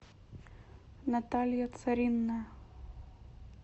наталья царинная